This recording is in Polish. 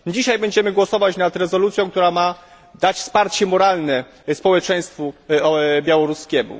Dzisiaj będziemy głosować nad rezolucją, która ma dać wsparcie moralne społeczeństwu białoruskiemu.